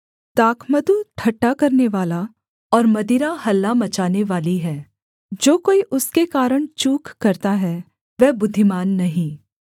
दाखमधु ठट्ठा करनेवाला और मदिरा हल्ला मचानेवाली है जो कोई उसके कारण चूक करता है वह बुद्धिमान नहीं